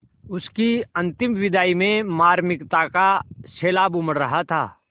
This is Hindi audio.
उसकी अंतिम विदाई में मार्मिकता का सैलाब उमड़ रहा था